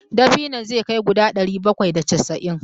Dabinon zai kai guda ɗari bakwai da casa'in.